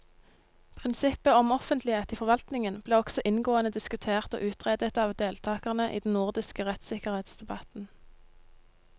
Prinsippet om offentlighet i forvaltningen ble også inngående diskutert og utredet av deltakerne i den nordiske rettssikkerhetsdebatten.